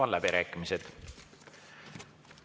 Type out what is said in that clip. Avan läbirääkimised.